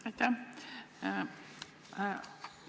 Aitäh!